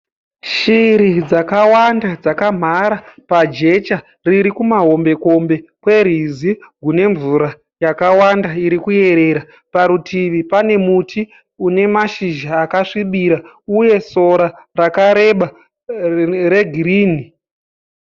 Shiri dzakawanda dzakamhara pajecha riri kumahombe kombe kwerwizi rwune mvura yakawanda iri kuyerera . Parutivi pane muti une mashizha akasvibira uye sora rakareba regirini.